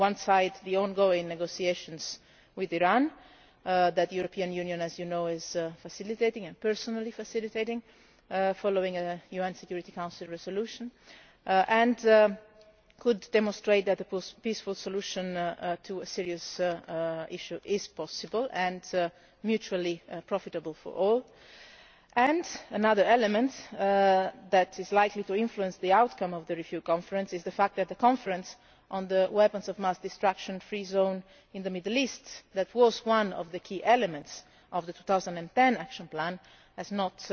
On one side, the ongoing negotiations with Iran that the European Union, as you know, is facilitating I am personally facilitating following a UN Security Council resolution and which could demonstrate that a peaceful solution to a serious issue is possible and mutually profitable for all. Another element that is likely to influence the outcome of the Review Conference is the fact that the Conference on the Weapons of Mass Destruction Free Zone in the Middle East, which was one of the key elements of the 2010 Action Plan, has